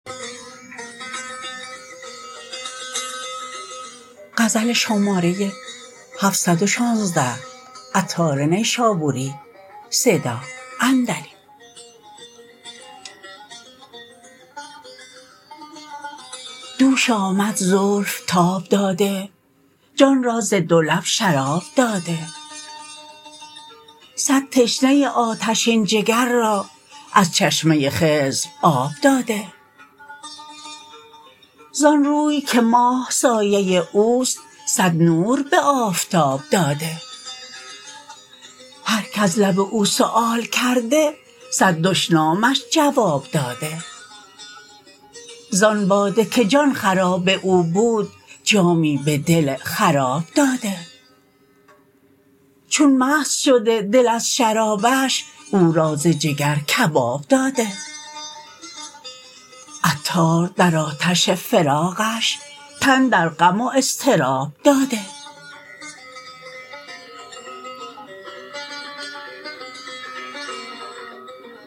دوش آمد زلف تاب داده جان را ز دو لب شراب داده صد تشنه آتشین جگر را از چشمه خضر آب داده زان روی که ماه سایه اوست صد نور به آفتاب داده هر که از لب او سؤال کرده صد دشنامش جواب داده زان باده که جان خراب او بود جامی به دل خراب داده چون مست شده دل از شرابش او را ز جگر کباب داده عطار در آتش فراقش تن در غم و اضطراب داده